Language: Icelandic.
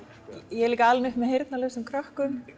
ég er alinn upp með heyrnarlausum krökkum